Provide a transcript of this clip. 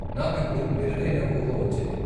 నాకు ఇప్పుడు మెరుగైన ఊహ వచ్చింది.